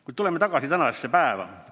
Kuid tuleme tagasi tänasesse päeva.